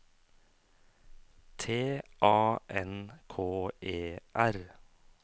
T A N K E R